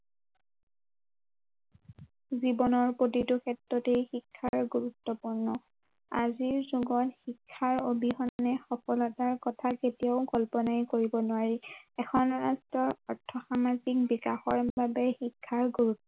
জীৱনৰ প্ৰতিটো ক্ষেত্ৰতেই শিক্ষাৰ গুৰুত্ৱপূৰ্ণ আজিৰ যুগৰ শিক্ষাৰ অবিহনে সফলতাৰ কথা কেতিয়াও কল্পনাই কৰিব নোৱাৰি, এখন ৰাষ্ট্ৰৰ অৰ্থসামাজিক বিকাশৰ বাবে শিক্ষাৰ গুৰু